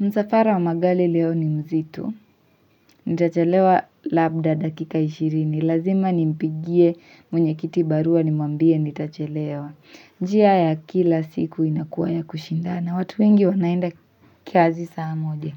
Msafara wa magari leo ni mzito, nitachelewa labda dakika ishirini, lazima nimpigie mwenyekiti barua nimwambie nitachelewa. Njia ya kila siku inakuwa ya kushindana, watu wengi wanaenda kazi saa moja,